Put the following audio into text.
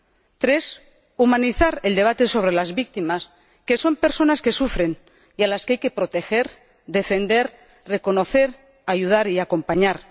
En tercer lugar, humanizar el debate sobre las víctimas, que son personas que sufren y a las que hay que proteger, defender, reconocer, ayudar y acompañar.